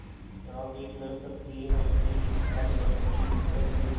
क्या वे कह सकती हैं कि इस आठ वर्ष की मुद्दत में